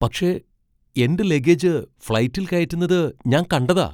പക്ഷേ, എന്റെ ലഗേജ് ഫ്ലൈറ്റിൽ കയറ്റുന്നത് ഞാൻ കണ്ടതാ.